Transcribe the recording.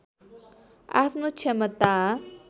आफ्नो क्षमता